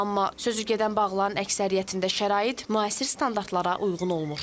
Amma sözü gedən bağların əksəriyyətində şərait müasir standartlara uyğun olmur.